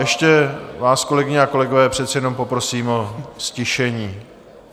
Ještě vás, kolegyně a kolegové, přece jenom poprosím o ztišení.